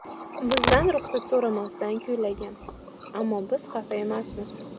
Bizdan ruxsat so‘ramasdan kuylagan, ammo biz xafa emasmiz.